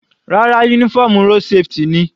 Rárá, uniform road safety ni.